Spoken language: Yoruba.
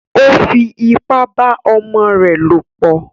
Ó fipá bá ọmọ rẹ̀ lòpọ̀